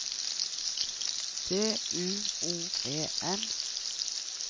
D U O E N